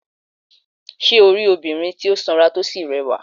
Sé o rí obìnrin tí ó sanra tí ó sì rẹwà?